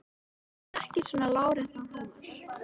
Hún hafði ekki svona láréttan húmor.